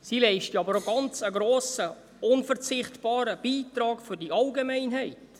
Sie leisten einen ganz grossen, unverzichtbaren Beitrag für die Allgemeinheit.